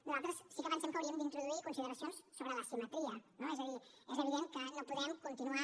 nosaltres sí que pensem que hauríem d’introduir consideracions sobre la asimetria no és a dir és evident que no podem continuar